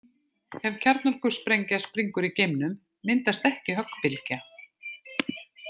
Ef kjarnorkusprengja springur í geimnum myndast ekki höggbylgja.